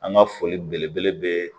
An ka foli belebele be